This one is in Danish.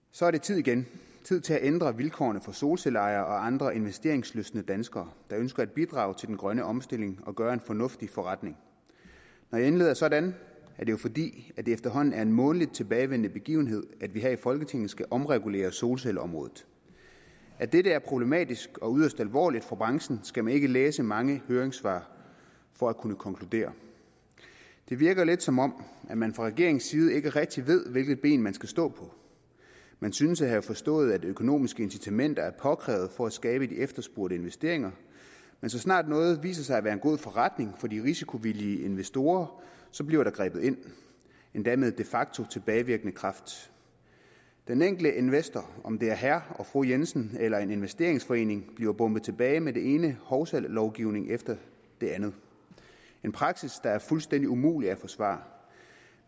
så er det tid igen tid til at ændre vilkårene for solcelleejere og andre investeringslystne danskere der ønsker at bidrage til den grønne omstilling og gøre en fornuftig forretning når jeg indleder sådan er det jo fordi det efterhånden er en månedligt tilbagevendende begivenhed at vi her i folketinget skal omregulere solcelleområdet at dette er problematisk og yderst alvorligt for branchen skal man ikke læse mange høringssvar for at kunne konkludere det virker lidt som om man fra regeringens side ikke rigtig ved hvilket ben man skal stå på man synes at have forstået at økonomiske incitamenter er påkrævet for at skabe de efterspurgte investeringer men så snart noget viser sig at være en god forretning for de risikovillige investorer bliver der grebet ind endda med de facto tilbagevirkende kraft den enkelte investor om det er herre og fru jensen eller en investeringsforening bliver bombet tilbage med den ene hovsalovgivning efter den anden en praksis der er fuldstændig umulig at forsvare